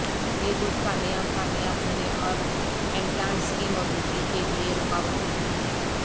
یہ دودھ کامیاب کامیاب ہونے اور امپلانٹس کی موجودگی کے لئے رکاوٹ نہیں ہے